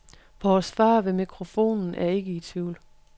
Vores far ved mikrofonen er ikke i tvivl.